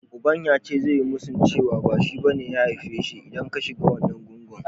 Uban ya ce zai yi musun cewa ba shi bane ya aife shi, idan ka shiga wannan gungun.